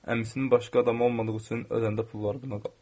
Əmisinin başqa adamı olmadığı üçün öləndə pulları buna qalıb.